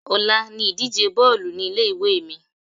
Ọ̀la ni ìdíje Bọ́ọ̀lù ní ilé ìwé mi.